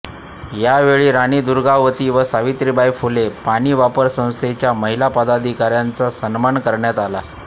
यावेळी राणी दुर्गावती व सावित्रीबाई फुले पाणी वापर संस्थेच्या महिला पदाधिकाऱ्यांचा सन्मान करण्यात आला